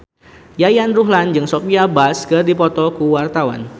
Yayan Ruhlan jeung Sophia Bush keur dipoto ku wartawan